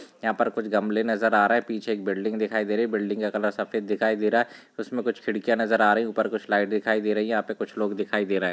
यहा पर कुछ गमले नज़र आ रहे है पीछे एक बिल्डिंग दिखाई दे रही बिल्डिंग का कलर सफेद दिखाई दे रहा है इसमे कुछ खिड़किया नज़र आ रही ऊपर कुछ लाइट दिखाई दे रही है यहा पे कुछ लोग दिखाई दे रहे है।